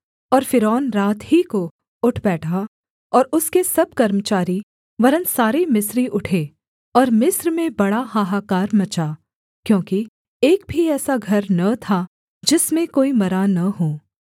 और फ़िरौन रात ही को उठ बैठा और उसके सब कर्मचारी वरन् सारे मिस्री उठे और मिस्र में बड़ा हाहाकार मचा क्योंकि एक भी ऐसा घर न था जिसमें कोई मरा न हो